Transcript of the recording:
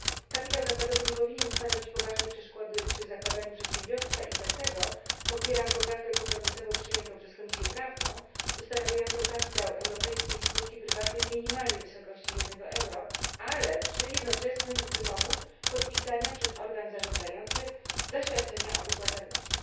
Kapitał zakładowy nie powinien stanowić poważnej przeszkody przy zakładaniu przedsiębiorstwa i dlatego popieram poprawkę kompromisową przyjętą przez Komisję Prawną ustanawiającą kapitał europejskiej spółki prywatnej w minimalnej wysokości jednego euro, ale przy jednoczesnym wymogu podpisania przez organ zarządzający zaświadczenia o wypłacalności.